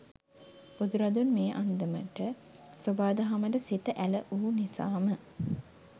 බුදුරදුන් මේ අන්දමට සොබා දහමට සිත ඇල වූ නිසාම